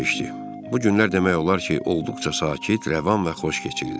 Bu günlər demək olar ki, olduqca sakit, rəvan və xoş keçirdi.